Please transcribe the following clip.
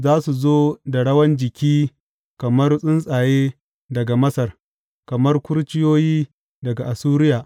Za su zo da rawan jiki kamar tsuntsaye daga Masar, kamar kurciyoyi daga Assuriya.